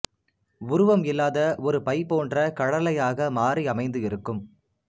உருவம் இல்லாத ஒரு பை போன்ற கழலையாக மாறி அமைந்து இருக்கும்